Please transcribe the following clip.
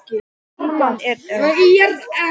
Ýtan er að moka mold upp á vörubíl.